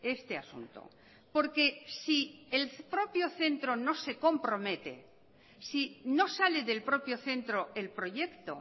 este asunto porque si el propio centro no se compromete si no sale del propio centro el proyecto